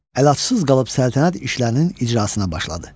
Əllatsız qalıb səltənət işlərinin icrasına başladı.